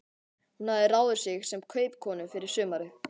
Hún hafði ráðið sig sem kaupakonu yfir sumarið.